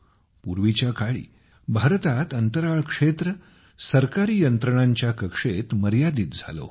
पूर्वीच्या काळी भारतात अंतराळ क्षेत्र सरकारी यंत्रणांच्या कक्षेत मर्यादित झाले होते